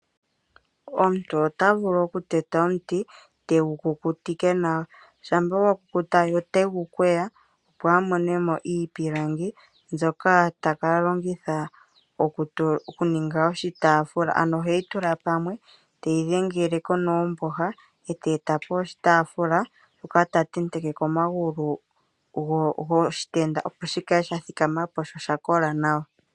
Omuntu otavulu okuteta omuti, tegu kukutike nawa. Shampa gwa kukuta ye ote gu kweya opo a mone mo iipilangi mbyoka ta ka longitha oku ninga oshitafula. Ano oheyi tula pamwe teyi dhengele ko noomboha, e ta eta po oshitafula hoka ta tenteke ko omagulu goshitenda opo shi kale sha thikama po, sho osha kola nawa.